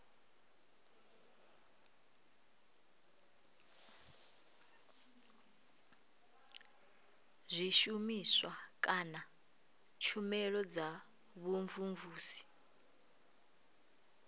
zwishumiswa kana tshumelo dza vhumvumvusi